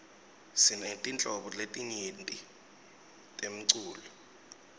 sinetinhlobo letinyenti temcuco